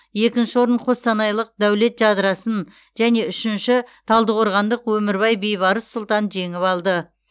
екінші орын қостанайлық дәулет жадырасын және үшінші талдықорғандық өмірбай бейбарыс сұлтан жеңіп алды